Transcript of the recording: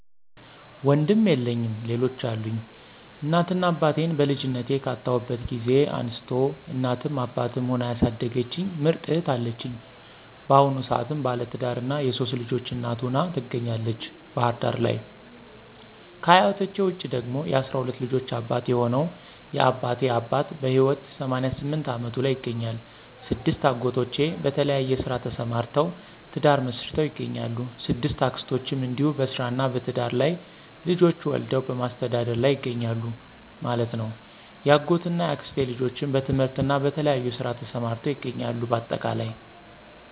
ወንድም የለኝም ሌሎች አሉኝ፦ እናት እና አባቴን በልጅነቴ ካጣሁበት ጊዜ አንስታ እናትም አባትም ሁና ያሣደገችኝ ምርጥ እህት አለችኝ። ባሁኑ ሰአትም ባለትዳርና የሶስት ልጆች እናት ሁና ትገኛለተች ባህር ዳር ለይ። ከ አያቶቸ ውስጥ ደግሞ የ12 ልጆች አባት የሆነው የ አባቴ አባት በህይወት 88 አመቱ ላይ ይገኛል። 6አጎቶቼ በተለያየ ስራ ተሰማርተውተ፤ ትዳር መሥርተው ይገኛሉ።። 6አክስቶቸም እንዲሁ በስራ እና በትዳር ላይ ልጆች ወልደው በማሥተዳደር ላይ ይገኛሉ ማለት ነው። ያጎት እና ያክስቴ ልጆችም በትምህርትና በተለያየ ስራ ተሰማርተው ይገኛሉ ባጠቃላይ።